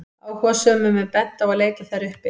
Áhugasömum er bent á að leita þær uppi.